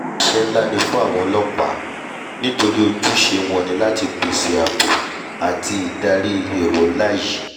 iṣẹ́ nlá ni fún àwọn ọlọ́pàá nítorí ojúṣe wọn ni láti pèsè àbò pèsè àbò àti ìdarí èrò nlá yìí